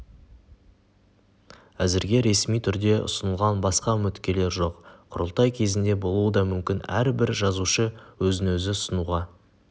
әзірге ресми түрде ұсынылған басқа үміткерлер жоқ құрылтай кезінде болуы да мүмкін әрбір жазушы өзін-өзі ұсынуға